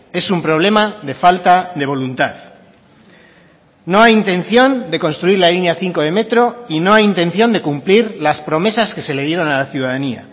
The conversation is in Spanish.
es un problema de falta de voluntad no hay intención de construir la línea cinco de metro y no hay intención de cumplir las promesas que se le dieron a la ciudadanía